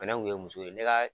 Fɛnɛ kun ye muso ye ne ka